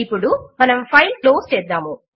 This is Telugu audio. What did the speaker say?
ఇప్పుడు మనము ఫైల్ క్లోజ్ చేద్దాము